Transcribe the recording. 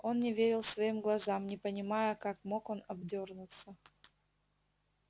он не верил своим глазам не понимая как мог он обдёрнуться